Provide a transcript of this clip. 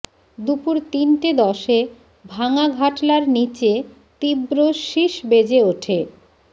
দুপুর তিনটে দশে ভাঙা ঘাটলার নীচে তীব্র শিস বেজে ওঠে